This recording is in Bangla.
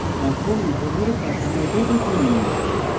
এখন ইথেনের কাঠামোতে টিপুন